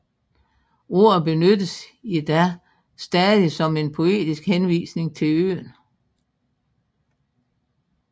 Ordet benyttes i dag stadig som en poetisk henvisning til øen